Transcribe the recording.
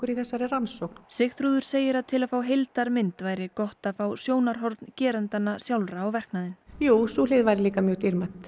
í þessari rannsókn Sigþrúður segir að til að fá heildarmynd væri gott að fá sjónarhorn gerendanna sjálfra á verknaðinn sú hlið væri líka mjög dýrmæt